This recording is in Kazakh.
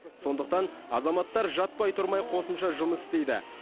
сондықтан азаматтар жатпай тұрмай қосымша жұмыс істейді